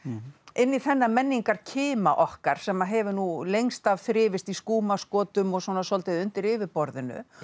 inn í þennan menningarkima okkar sem hefur nú lengst af þrifist í skúmaskotum og svolítið undir yfirborðinu